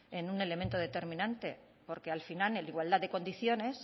en un elemento determinante porque al final en igualdad de condiciones